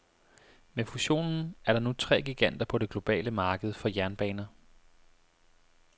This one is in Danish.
Med fusionen er der nu tre giganter på det globale marked for jernbaner.